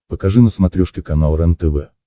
покажи на смотрешке канал рентв